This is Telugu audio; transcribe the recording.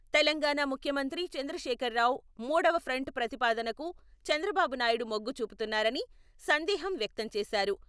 తెలంగాణా ముఖ్యమంత్రి చంద్రశేఖర్ రావు మూడవ ఫ్రంట్ ప్రతిపాదనకు చంద్రబాబునాయుడు మొగ్గుచూపుతున్నారని సందేహం వ్యక్తం చేశారు.